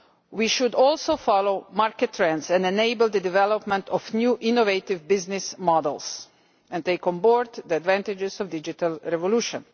We should also follow market trends and enable the development of new innovative business models and take on board the advantages of the digital revolution.